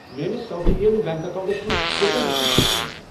میٲنِس South Indian Bank accounts منٛز کۭژاہ رۄپیہِ چھِ بَچیٖمٕژ؟